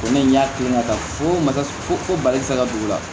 Ko ne y'a kelen ka taa fo masa ko bali ka don o la